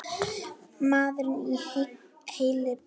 Maðurinn er heill á húfi.